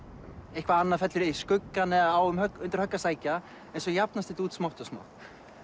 eitthvað annað fellur í skuggann á undir högg að sækja svo jafnast þetta út smátt og smátt